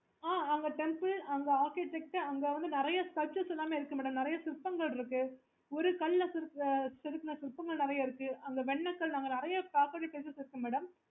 அங்க temple அங்க architecture அங்க வந்து sculptures எல்லாமே இருக்கு madam நிறைய சிற்பங்கள் எல்லாமே இருக்கு ஒரு கல் ல செதுக்குண சிற்பங்கள் இருக்கு